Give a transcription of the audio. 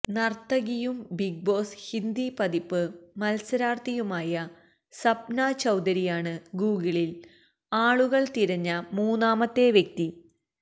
നര്ത്തകിയും Bigg Boss Hindi പതിപ്പ് മത്സരാര്ത്ഥിയുമായ സപ്നാ ചൌധരിയാണ് ഗൂഗിളില് ആളുകള് തിരഞ്ഞ മൂന്നാമത്തെ വ്യക്തി